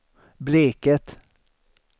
Bleket